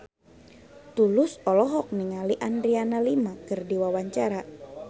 Tulus olohok ningali Adriana Lima keur diwawancara